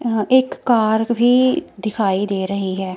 यहां एक कार भी दिखाई दे रही है।